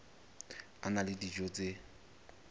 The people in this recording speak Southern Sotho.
a na le dijo tse